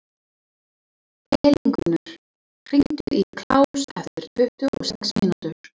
Elíngunnur, hringdu í Kláus eftir tuttugu og sex mínútur.